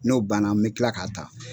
N'o banna n bi kila k'a ta.